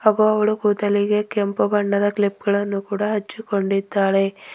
ಹಾಗು ಅವಳು ಕೂದಲಿಗೆ ಕೆಂಪು ಬಣ್ಣದ ಕ್ಲಿಪ್ ಗಳನ್ನು ಕೂಡ ಹಚ್ಚುಕೊಂಡಿದ್ದಾಳೆ.